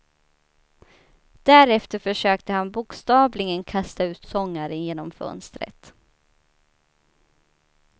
Därefter försökte han bokstavligen kasta ut sångaren genom fönstret.